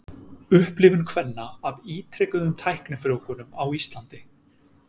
Upplifun kvenna af ítrekuðum tæknifrjóvgunum á Íslandi.